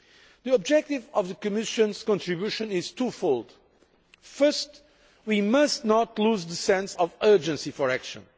The objective of the Commission's contribution is two fold first, we must not lose the sense of urgency as regards action.